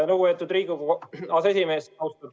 Lugupeetud Riigikogu aseesimees!